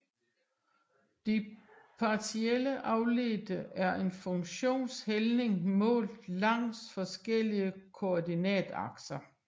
De partielle afledte er en funktions hældning målt langs forskellige koordinatakser